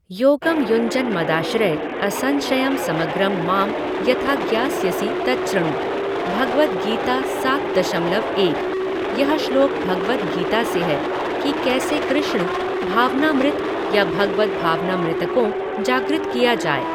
योगम युञ्जन मदाश्रय असंशयम समग्रम माम यथा ज्ञास्यसि तच्छृणु, भगवद् गीता सात दशमलव एक, यह श्लोक भगवद् गीता से है कि कैसे कृष्ण भावनामृत या भगवद् भावनामृत को जागृत किया जाए।